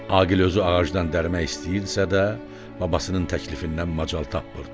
Aqil özü ağacdan dərmək istəyirdisə də, babasının təklifindən macal tapmırdı.